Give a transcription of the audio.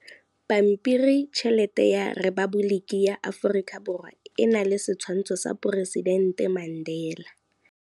Pampiritšheletê ya Repaboliki ya Aforika Borwa e na le setshwantshô sa poresitentê Mandela.